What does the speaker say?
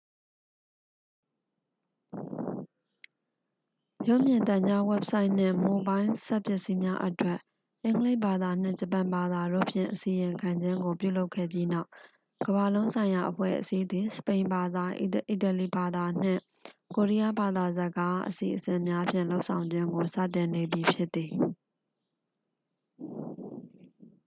"""ရုပ်မြင်သံကြား၊ ဝဘ်ဆိုက်နှင့် မိုဘိုင်းလ်စက်ပစ္စည်းများအတွက် အင်္ဂလိပ်ဘာသာနှင့် ဂျပန်ဘာသာတို့ဖြင့် အစီရင်ခံခြင်းကို ပြုလုပ်ခဲ့ပြီးနောက်ကမ္ဘာ့လုံးဆိုင်ရာအဖွဲ့အစည်းသည် စပိန်ဘာသာ၊ အီတလီဘာသာနှင့် ကိုရီယားဘာသာစကား အစီအစဉ်များဖြင့် လုပ်ဆောင်ခြင်းကို စတင်နေပြီဖြစ်သည်။""